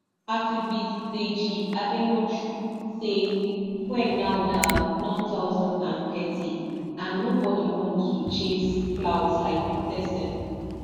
activist deji adeyanju say fuel now na none thousand and thirty but nobody want to chase clout like protesting